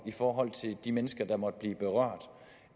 i forhold til de mennesker der måtte blive berørt